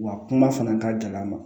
Wa kuma fana ka gɛlɛn a ma